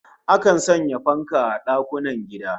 Akan sanya fanka a dakunan gida